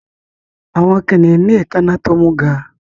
Àwọn kìnnìún ní èékáná tó mú gán-an